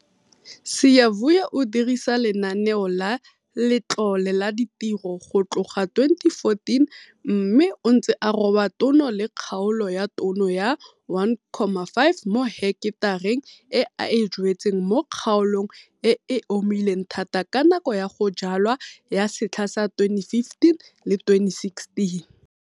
Siyavuya o dirisa Lenaneo la Letlole la Ditiro go tloga 2014 mme o ntse a roba tono le kgaolo ya tono ya 1,5 mo heketareng e a e jwetseng mo kgaolong e e omileng thata ka nako ya go jwala ya setlha sa 2015-2016.